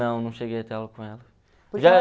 Não, não cheguei a ter aula com ela.